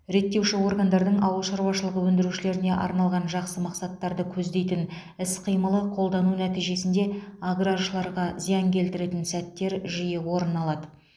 реттеуші органдардың ауыл шаруашылығы өндірушілеріне арналған жақсы мақсаттарды көздейтін іс қимылы қолдану нәтижесінде аграршыларға зиян келтіретін сәттер жиі орын алады